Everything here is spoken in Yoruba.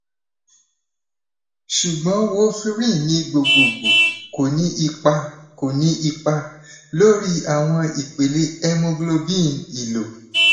sugbon warferrin ni gbogbogbo ko ni ipa ko ni ipa lori awọn ipele hemoglobin elo